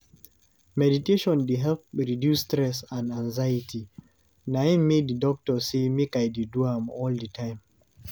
Meditation dey help reduce stress and anxiety, na im make di doctor say make I dey do am all di time.